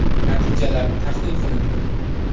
Natijalar tahlil qilindi.